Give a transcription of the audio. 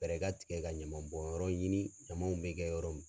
Fɛɛrɛ ka tigɛ ka ɲaman bɔn yɔrɔ ɲini ɲamanw bɛ kɛ yɔrɔ